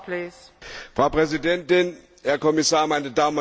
Frau Präsidentin, Herr Kommissar, meine Damen und Herren!